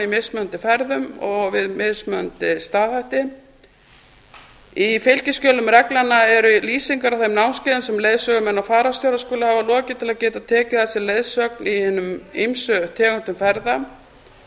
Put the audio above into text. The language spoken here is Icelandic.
mismunandi ferðum og við mismunandi staðhætti í fylgiskjölum reglnanna eru lýsingar á þeim námskeiðum sem leiðsögumenn og fararstjórar skulu hafa lokið til að geta tekið að sér leiðsögn í hinum ýmsu tegundum ferða